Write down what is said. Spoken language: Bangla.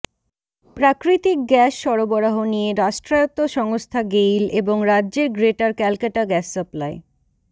প্রাকৃতিক গ্যাস সরবরাহ নিয়ে রাষ্ট্রায়ত্ত সংস্থা গেইল এবং রাজ্যের গ্রেটার ক্যালকাটা গ্যাস সাপ্লাই